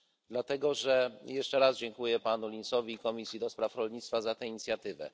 Dlatego też jeszcze raz dziękuję Panu Linsowi i komisji do spraw rolnictwa za tę inicjatywę.